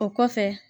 O kɔfɛ